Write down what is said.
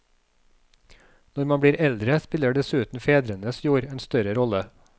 Når man blir eldre spiller dessuten fedrenes jord en større rolle.